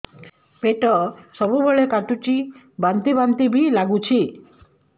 ପେଟ ସବୁବେଳେ କାଟୁଚି ବାନ୍ତି ବାନ୍ତି ବି ଲାଗୁଛି